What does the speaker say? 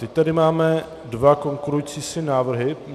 Teď tady máme dva konkurující si návrhy.